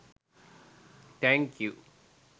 Thank you.